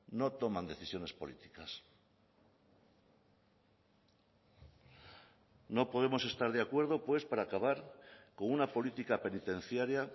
no toman decisiones políticas no podemos estar de acuerdo pues para acabar con una política penitenciaria